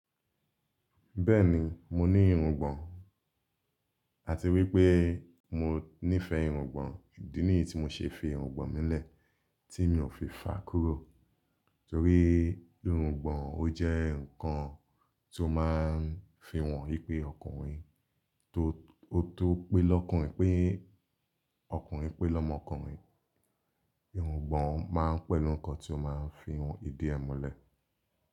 Bẹ́ẹ̀ni, mo ní irungbọ̀n àti wípé mo nífẹ̀ẹ́ irungbọ̀n. Idi niyi tí mo ṣe fi irungbọ̀n mi lẹ̀, tí mi ò fi fàá kúrò. Nítorí irungbọ̀n ó jẹ́ ǹkan ti o máa ń fi hàn wípé ọkùnrin tó, o to pé lọ́kùnrin pé, ọkùnrin pé lọ́mọkùnrin. Irungbọ̀n máa ń pẹ̀lú nǹkan tí ó máa ń fi hàn ìdí ẹ̀ mọ́lẹ̀